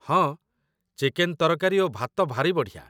ହଁ, ଚିକେନ୍ ତରକାରୀ ଓ ଭାତ ଭାରି ବଢ଼ିଆ